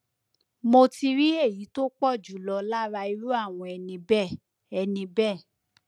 mo ti rí èyí tó pọ jùlọ lára irú àwọn ẹni bẹẹ ẹni bẹẹ